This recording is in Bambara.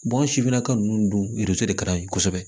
an sifinnaka ninnu dun yiriso de ka di an ye kosɛbɛ